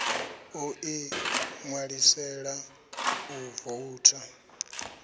o ḓi ṋwalisela u voutha